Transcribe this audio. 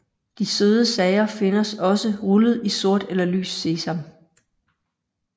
De søde sager findes også rullet i sort eller lys sesam